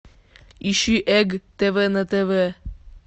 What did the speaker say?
ищи эг тв на тв